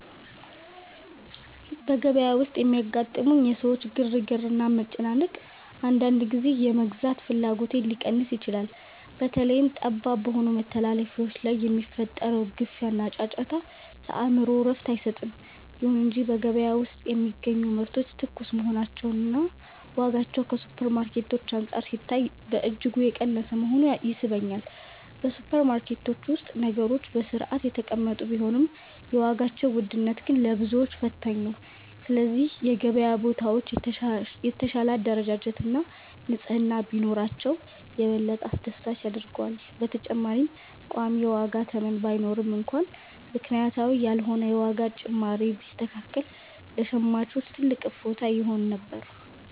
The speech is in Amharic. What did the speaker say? በገበያ ውስጥ የሚያጋጥሙኝ የሰዎች ግርግርና መጨናነቅ፣ አንዳንድ ጊዜ የመግዛት ፍላጎቴን ሊቀንስ ይችላል። በተለይም ጠባብ በሆኑ መተላለፊያዎች ላይ የሚፈጠረው ግፊያና ጫጫታ፣ ለአእምሮ እረፍት አይሰጥም። ይሁን እንጂ በገበያ ውስጥ የሚገኙ ምርቶች ትኩስ መሆናቸውና ዋጋቸውም ከሱፐርማርኬቶች አንፃር ሲታይ በእጅጉ የቀነሰ መሆኑ ይስበኛል። በሱፐርማርኬቶች ውስጥ ነገሮች በሥርዓት የተቀመጡ ቢሆንም፣ የዋጋው ውድነት ግን ለብዙዎች ፈታኝ ነው። ስለዚህ የገበያ ቦታዎች የተሻለ አደረጃጀትና ንጽሕና ቢኖራቸው፣ የበለጠ አስደሳች ያደርገዋል። በተጨማሪም ቋሚ የዋጋ ተመን ባይኖርም እንኳን፣ ምክንያታዊ ያልሆነ የዋጋ ጭማሪ ቢስተካከል ለሸማቹ ትልቅ እፎይታ ይሆን ነበር።